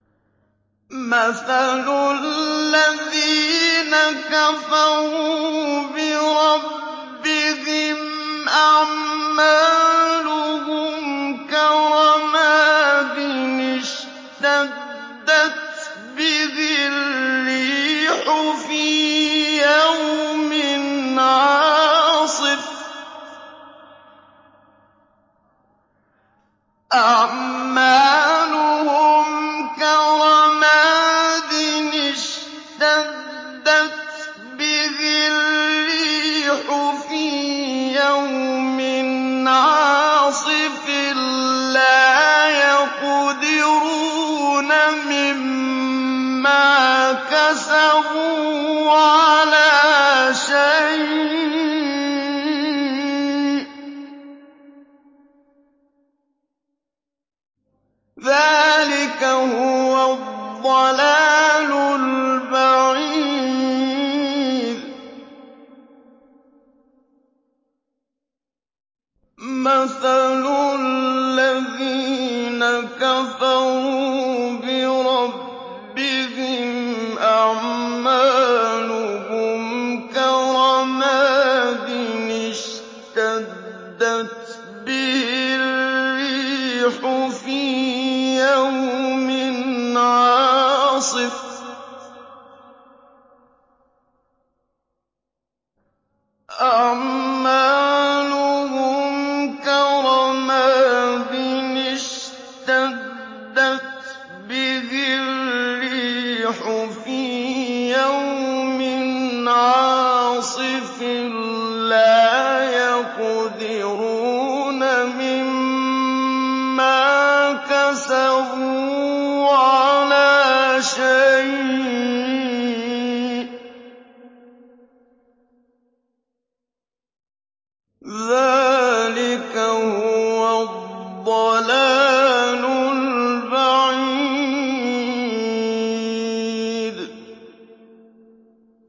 مَّثَلُ الَّذِينَ كَفَرُوا بِرَبِّهِمْ ۖ أَعْمَالُهُمْ كَرَمَادٍ اشْتَدَّتْ بِهِ الرِّيحُ فِي يَوْمٍ عَاصِفٍ ۖ لَّا يَقْدِرُونَ مِمَّا كَسَبُوا عَلَىٰ شَيْءٍ ۚ ذَٰلِكَ هُوَ الضَّلَالُ الْبَعِيدُ